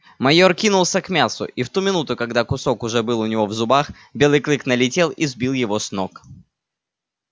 майор кинулся к мясу и в ту минуту когда кусок уже был у него в зубах белый клык налетел и сбил его с ног